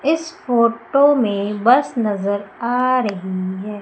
इस फोटो में बस नजर आ रही हैं।